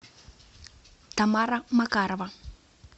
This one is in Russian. тамара макарова